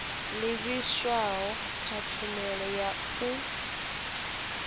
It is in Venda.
livhiswaho kha tshumelo ya u